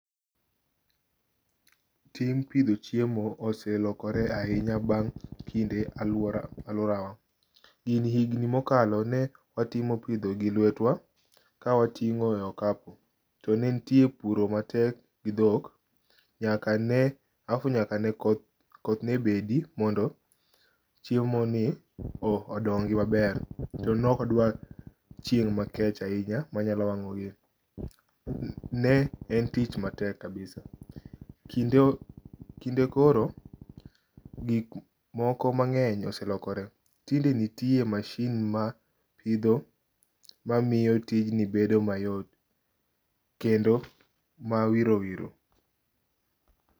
Tij pitho chiemo oselokore ahinya bang' kinde aluora aluorawa, gini higni mokalo ne watimo pitho gi lwetwa ka watingo' e okapu, to ne nitiere puro matek gi thok, nyakane alafu nyakane koth koth ne bedi mondo chiemoni odongi' maber, to ne ok odwa chieng' makech ahinya manyalo wango' gini, ne en tich matek kabisa, kinde koro gik moko mange'ny oselokore , tinde nitie machine mapitho mamiyo tijni bendo mayot kendo ma.